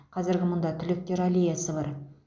қазір мұнда түлектер аллеясы бар